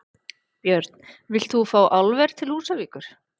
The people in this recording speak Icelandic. Björn: Vilt þú fá álver til Húsavíkur?